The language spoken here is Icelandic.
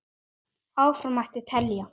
Áfram mætti telja.